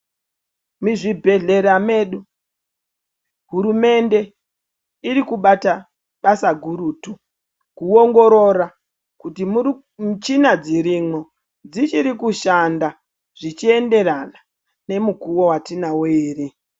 Muzvibhehlera medu hurumende iri kubata basa gurutu ,kuongorora kuti michina dzirimo dzichiri kushanda zvichienderana nemukuwo wetinawo ere.